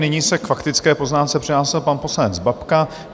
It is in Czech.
Nyní se k faktické poznámce přihlásil pan poslanec Babka.